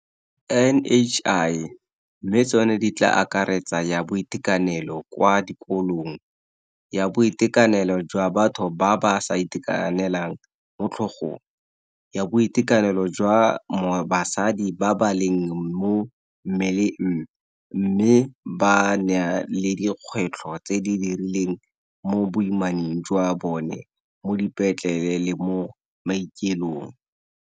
NHI mme tsone di tla akaretsa ya boitekanelo kwa dikolong, ya boitekanelo jwa batho ba ba sa itekanelang mo tlhogong, ya boitekanelo jwa basadi ba ba leng mo mmeleng mme ba na le dikgwetlho tse di rileng mo boimaneng jwa bone mo dipetleleng le mo maokelong